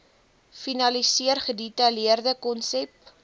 finaliseer gedetailleerde konsep